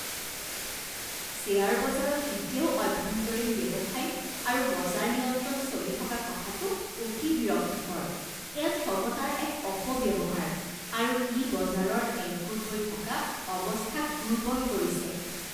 Share বজাৰত এতিয়াও অভ্যন্তৰীণ ব্যৱসায় আৰু বজাৰ নিয়ন্ত্ৰণ চলি থকা কথাটো অতি বিৰক্তিকৰ। এয়া ক্ষমতাৰ এক অপব্যৱহাৰ আৰু ই বজাৰৰ একগোট হৈ থকা অৱস্থাক দুৰ্বল কৰিছে।